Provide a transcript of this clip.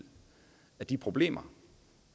at de problemer